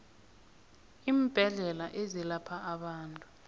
iimbedlela ezelapha abantu